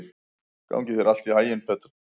Gangi þér allt í haginn, Petra.